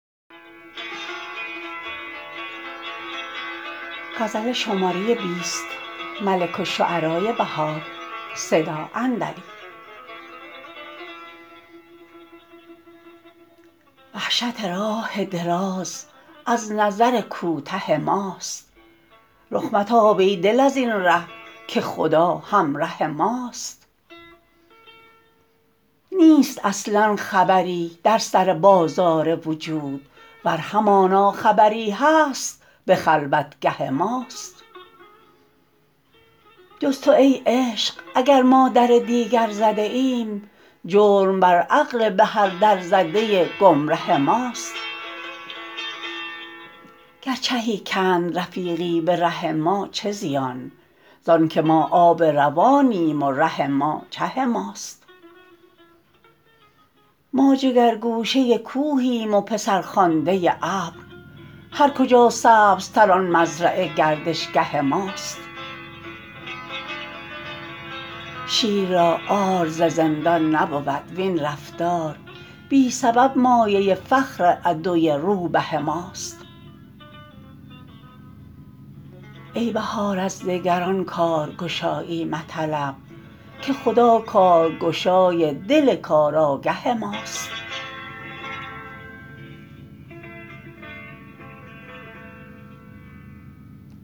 وحشت راه دراز از نظر کوته ماست رخ متاب ای دل از ین ره که خدا همراه ماست نیست اصلا خبری در سر بازار وجود ور همانا خبری هست به خلوتگه ماست جز تو ای عشق اگر ما در دیگر زده ایم جرم بر عقل به هر در زده گمره ماست گر چهی کند رفیقی به ره ما چه زیان زان که ما آب روانیم و ره ما چه ماست ما جگر گوشه کوهیم و پسرخوانده ابر هر کجا سبزتر آن مزرعه گردشگه ماست شیر را عار ز زندان نبود وین رفتار بی سبب مایه فخر عدوی روبه ماست ای بهار از دگران کارگشایی مطلب که خدا کارگشای دل کارآگه ماست